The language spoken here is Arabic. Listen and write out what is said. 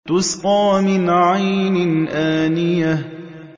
تُسْقَىٰ مِنْ عَيْنٍ آنِيَةٍ